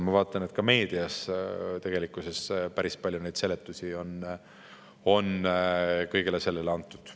Ma vaatan, et ka meedias tegelikkuses on päris palju seletusi kõigele sellele antud.